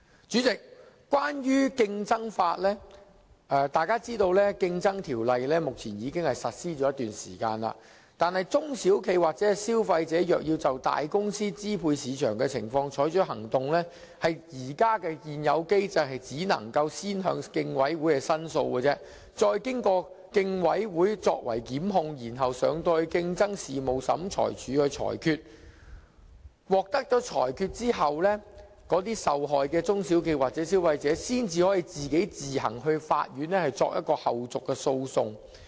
主席，關於競爭法，大家皆知道《競爭條例》已實施一段時間，但如果中小型企業或消費者要就大公司支配市場的情況採取行動，在現有機制下只能先向競爭事務委員會申訴，再經由競委會作出檢控，然後提交競爭事務審裁處裁決，在獲得裁決後，受害的中小企或消費者才可自行到法院作後續訴訟。